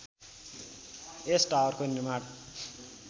यस टावरको निर्माण